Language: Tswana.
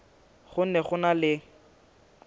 go ne go na le